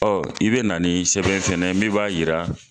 Ɔn, i be na ni sɛbɛn fɛnɛ ye min b'a yira